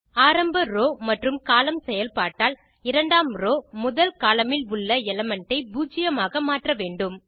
ஆரம்ப ரோவ் மற்றும் கோலம்ன் செயல்பாட்டால் இரண்டாம் ரோவ் முதல் கோலம்ன் இல் உள்ள எலிமெண்ட் ஐ பூஜ்ஜியமாக மாற்ற வேண்டும்